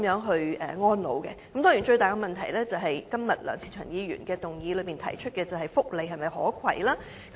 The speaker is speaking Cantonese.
當然，當中涉及最大的問題，就是今天梁志祥議員在議案中提出有關福利的可攜性。